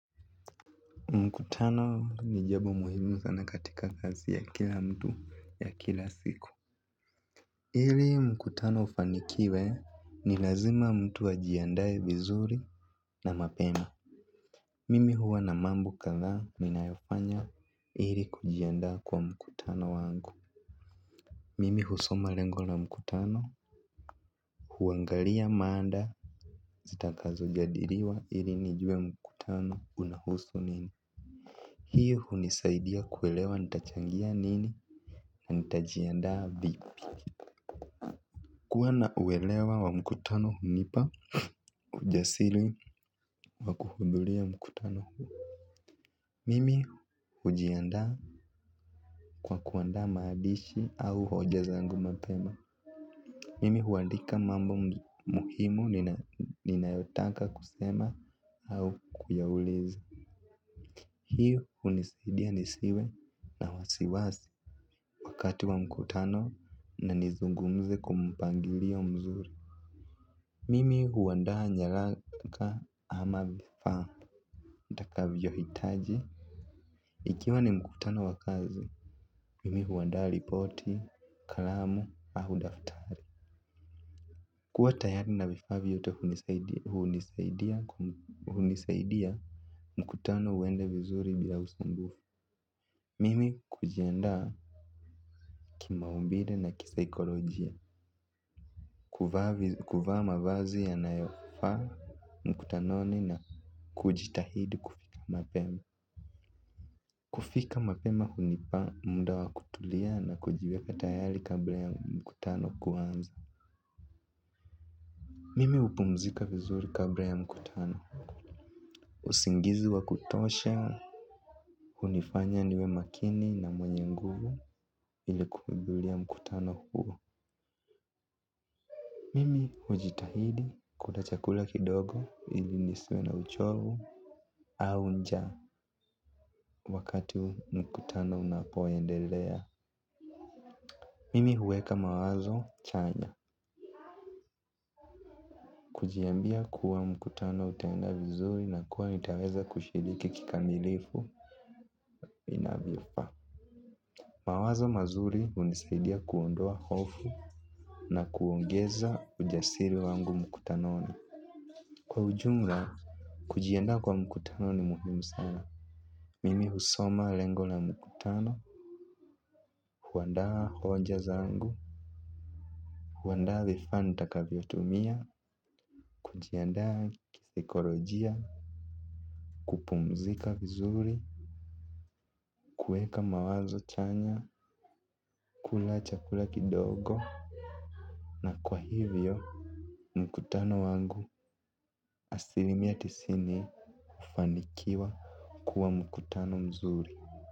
Mkutano ni jambo muhimu sana katika kazi ya kila mtu ya kila siku. Ili mkutano ufanikiwe ni lazima mtu ajiandaaye vizuri na mapema. Mimi huwa na mambo kadha ninayofanya ili kujiandaa kwa mkutano wangu. Mimi husoma lengo la mkutano. Huangalia maada zitakazo jadiliwa ili nijue mkutano unahusu nini. Hii hunisaidia kuelewa nitachangia nini. Nitajiandaa vipi. Kuwa na uelewa wa mkutano hunipa ujasiri wa kuhudhuria mkutano huu. Mimi hujiandaa kwa kuandaa maandishi au hoja zangu mapema. Mimi huandika mambo muhimu ninayotaka kusema au kuyauliza. Hii hunisaidia nisiwe na wasiwasi wakati wa mkutano na nizungumze kwa mpangilio mzuri. Mimi huandaa nyaraka ama vifaa nitakavyo hitaji. Ikiwa ni mkutano wa kazi, mimi huandaa ripoti, kalamu, au daftari. Kuwa tayari na vifaa vyote hunisaidia mkutano uende vizuri bila usumbufu. Mimi kujiandaa kima umbile na kisaikolojia. Kuvaa mavazi yanayofaa mkutanoni na kujitahidi kufika mapema. Kufika mapema hunipa muda wa kutulia na kujiweka tayari kabla ya mkutano kuanza. Mimi hupumzika vizuri kabla ya mkutano. Usingizi wa kutosha, hunifanya niwe makini na mwenye nguvu ili kuhudhuria mkutano huo. Mimi hujitahidi kula chakula kidogo ili nisiwe na uchovu au njaa wakati mkutano unapoendelea. Mimi huweka mawazo chanya, kujiambia kuwa mkutano utenda vizuri na kuwa nitaweza kushiriki kikamilifu inabifa. Mawazo mazuri hunisaidia kuondoa hofu na kuongeza ujasiri wangu mkutanoni. Kwa ujumla, kujiandaa kwa mkutano ni muhimu sana. Mimi husoma lengo la mkutano kuandaa hoja zangu. Kuandaa vifaa nitakavyo tumia kujiandaa kisaikolojia. Kupumzika vizuri kuweka mawazo chanya kula chakula kidogo na kwa hivyo mkutano wangu asilimia tisini hufanikiwa kuwa mkutano mzuri.